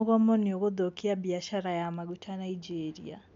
Mogomo niũgũthũkia biacara ya maguta Nigeria.